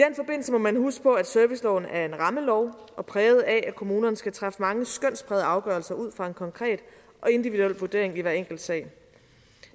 må man huske på at serviceloven er en rammelov og præget af at kommunerne skal træffe mange skønsprægede afgørelser ud fra en konkret og individuel vurdering i hver enkelt sag